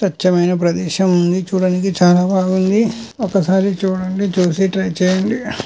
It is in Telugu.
స్వచ్చమైన ప్రదేశం ఉంది. చూడండి చానా బాగుంది. ఒకసారి చూడండి. చూసి ట్రై చేయండి.